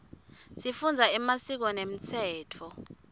sifundza emasiko nemtsetfo